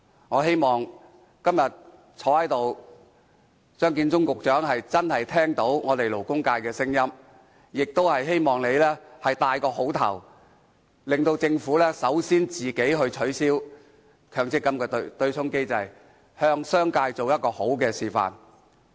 我希望今天出席的張建宗局長真的聆聽勞工界的聲音，亦希望局長能給大家好的開始，由政府帶頭取消強積金對沖機制，向商界做好的示範。